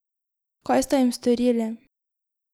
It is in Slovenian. Kaj sta jim storili?